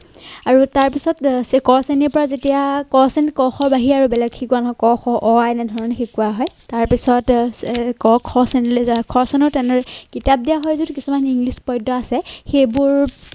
আৰু তাৰ পিছত ক শ্ৰেণীৰ পৰা যেতিয়া ক শ্ৰেণীত ক, খ ৰ বাহিৰে আৰু বেলেগ শিকোৱা নহয় ক, খ, অ, আ, এনে ধৰণে শিকোৱা হয় তাৰ পিছত ক খ শ্ৰেণীলৈ যায়। খ শ্ৰেণীত তেনেদৰে কিতাপ দিয়া হয় যদিও কিছুমান ইংলিছ পদ্য আছে সেইবোৰ